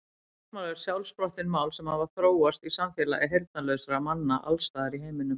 Táknmál eru sjálfsprottin mál sem hafa þróast í samfélagi heyrnarlausra manna alls staðar í heiminum.